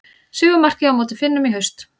Sigurmarkið á móti Finnum í haust.